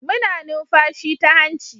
Muna numfashi ta hanci